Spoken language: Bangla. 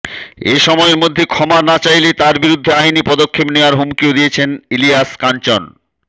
এই সময়ের মধ্যে ক্ষমা না চাইলে তার বিরুদ্ধে আইনি পদক্ষেপ নেওয়ার হুমকিও দিয়েছেন ইলিয়াস কাঞ্চন